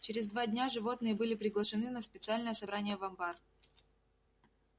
через два дня животные были приглашены на специальное собрание в амбар